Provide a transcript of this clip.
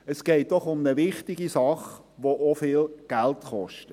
Es geht doch um eine wichtige Sache, welche viel Geld kostet.